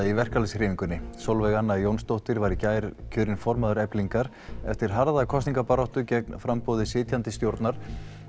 í verkalýðshreyfingunni Sólveig Anna Jónsdóttir var í gær kjörin formaður Eflingar eftir harða kosningabaráttu gegn framboði sitjandi stjórnar